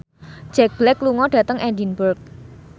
Jack Black lunga dhateng Edinburgh